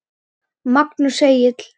Magnús Egill.